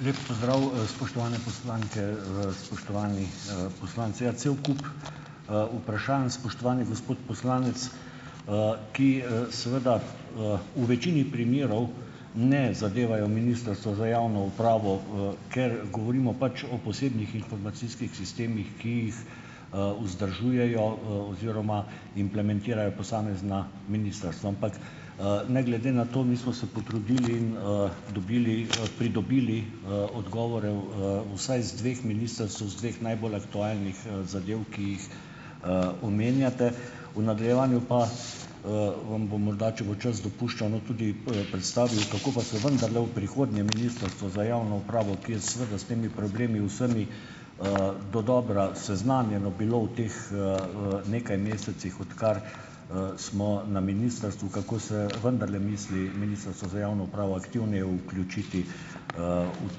Lep pozdrav, spoštovane poslanke, spoštovani, poslanci! Ja, cel kup, vprašanj, spoštovani gospod poslanec, ki, seveda, v večini primerov ne zadevajo Ministrstva za javno upravo, ker govorimo pač o posebnih informacijskih sistemih, ki jih, vzdržujejo, oziroma implementirajo posamezna ministrstva. Ampak, ne glede na to, mi smo se potrudili in, dobili, pridobili, odgovore, vsaj z dveh ministrstev z dveh najbolj aktualnih, zadev, ki jih, omenjate. V nadaljevanju pa, vam bom morda, če bo čas dopuščal, no, tudi, predstavil, kako pa se vendarle v prihodnje Ministrstvo za javno upravo, ki je seveda s temi problemi vsemi, dodobra seznanjeno bilo v teh, nekaj mesecih, odkar, smo na ministrstvu, kako se vendarle misli Ministrstvo za javno upravo aktivneje vključiti, v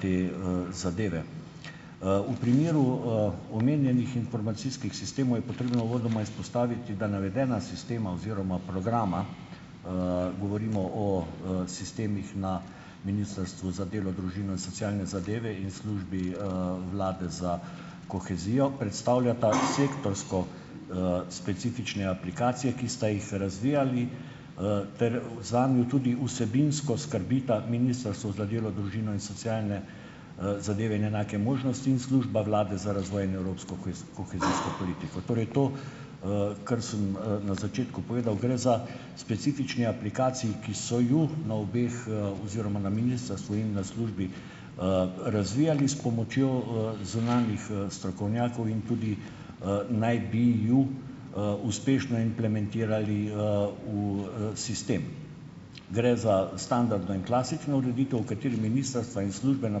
te, zadeve. V primeru, omenjenih informacijskih sistemov je potrebno uvodoma izpostaviti, da navedena sistema oziroma programa, govorimo o, sistemih na Ministrstvu za delo, družino in socialne zadeve in Službi, vlade za kohezijo, predstavljata sektorsko, specifične aplikacije, ki sta jih razvijali, ter zanju tudi vsebinsko skrbita Ministrstvo za delo, družino in socialne, zadeve in enake možnosti in Služba Vlade za razvoj in evropsko kohezijsko politiko. Torej to, kar sem, na začetku povedal, gre za specifični aplikaciji, ki so jo na obeh, oziroma na ministrstvu in na službi, razvijali s pomočjo, zunanjih, strokovnjakov in tudi, naj bi ju, uspešno implementirali, v, sistem. Gre za standardno in klasično ureditev, v kateri ministrstva in službe na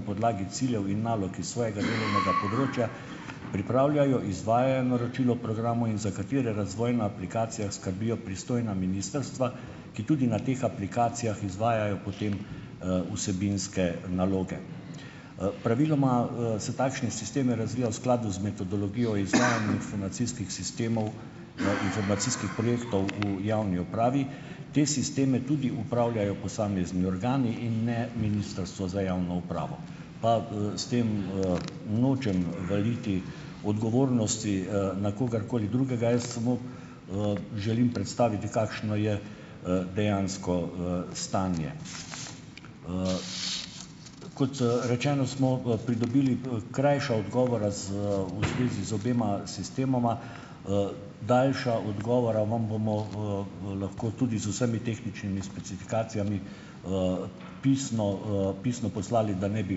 podlagi ciljev in nalog iz svojega delovnega področja pripravljajo, izvajajo naročilo programov in za katere razvoj na aplikacijah skrbijo pristojna ministrstva, ki tudi na teh aplikacijah izvajajo potem, vsebinske naloge. Praviloma, se takšne sisteme razvija v skladu z metodologijo o izvajanju informacijskih sistemov, informacijskih projektov v javni upravi. Te sisteme tudi upravljajo posamezni organi in ne Ministrstvo za javno upravo. Pa, s tem, nočem valiti odgovornosti, na kogarkoli drugega, jaz samo, želim predstaviti, kakšno je, dejansko, stanje. Kot, rečeno, smo v pridobili, krajša odgovora z, v zvezi z obema sistemoma. Daljša odgovora vam bomo, lahko tudi z vsemi tehničnimi specifikacijami, pisno, pisno poslali, da ne bi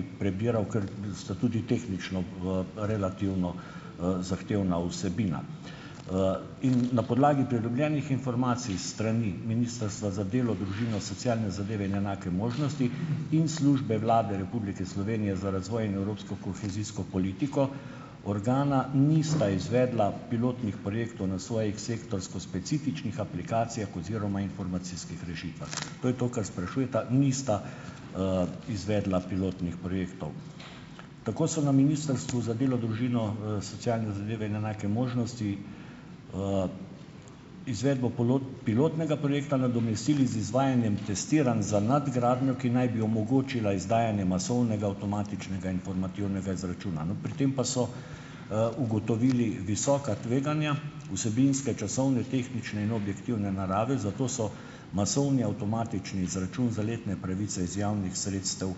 prebiral, ker sta tudi tehnično, relativno, zahtevna vsebina. In na podlagi pridobljenih informacij s strani Ministrstva za delo, družino, socialne zadeve in enake možnosti in Službe Vlade Republike Slovenije za razvoj in evropsko kohezijsko politiko organa nista izvedla pilotnih projektov na svojih sektorsko specifičnih aplikacijah oziroma informacijskih rešitvah. To je to, kar sprašujeta, nista, izvedla pilotnih projektov. Tako so na Ministrstvu za delo, družino, socialne zadeve in enake možnosti, izvedbo pilotnega projekta nadomestili z izvajanjem testiranj za nadgradnjo, ki naj bi omogočila izdajanje masovnega avtomatičnega informativnega izračuna. No, pri tem pa so, ugotovili visoka tveganja vsebinske, časovne, tehnične in objektivne narave, zato so masovni avtomatični izračun za letne pravice iz javnih sredstev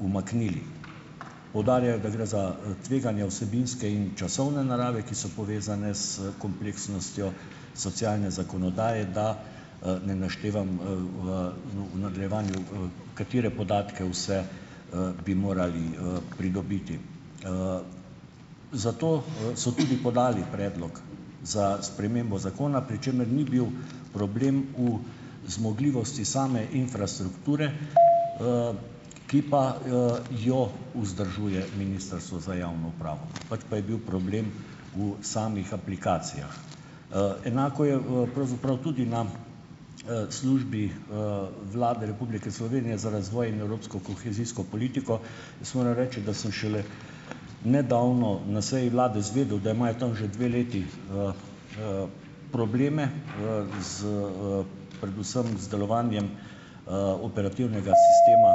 umaknili. Poudarjajo, da gre za, tveganja vsebinske in časovne narave, ki so povezane s kompleksnostjo socialne zakonodaje, da, ne naštevam, v nadaljevanju, katere podatke vse, bi morali, pridobiti. Zato, so tudi podali predlog za spremembo zakona, pri čemer ni bil problem v zmogljivosti same infrastrukture, ki pa, jo vzdržuje Ministrstvo za javno upravo. Pač pa je bil problem v samih aplikacijah. Enako je, pravzaprav tudi nam, Službi, Vlade Republike Slovenije za razvoj in evropsko kohezijsko politiko. Jaz moram reči, da sem šele nedavno na seji vlade izvedel, da imajo tam že dve leti, probleme, z, predvsem z delovanjem, operativnega sistema,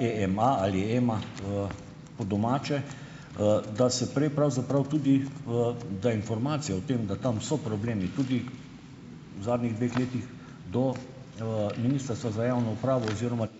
EEMA ali EMA po domače, da se prej pravzaprav tudi, da informacija o tem, da tam so problemi tudi v zadnjih dveh letih, do, Ministrstva za javno upravo oziroma ...